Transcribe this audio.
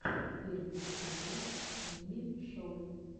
первый эпизод мими шоу